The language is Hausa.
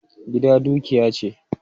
Gida dukiya ce.